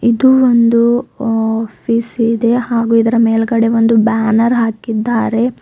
ಇದು ಒಂದು ಆಫೀಸ್ ಇದೆ ಹಾಗೂ ಇದರ ಮೇಲ್ಗಡೆ ಒಂದು ಬ್ಯಾನರ್ ಹಾಕಿದ್ದಾರೆ.